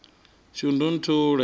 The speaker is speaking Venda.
shundunthule